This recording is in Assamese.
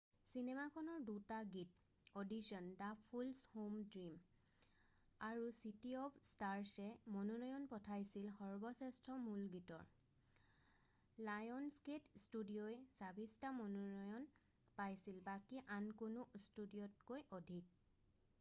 চিনেমাখনৰ ২ টা গীত audition the fools who dream আৰু চিটী অৱ স্টাৰছে মনোনয়ন পাইছিল সৰ্বশ্ৰেষ্ঠ মূল গীতৰ। লায়নছগেট ষ্টুডিঅʼই ২৬টা মনোনয়ন পাইছিল – বাকী আন কোনো ষ্টুডিঅʼতকৈ অধিক।